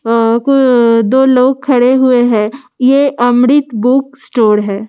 आं कु दो लोग खड़े हुए हैं ये अमृत बुक स्‍टोर है।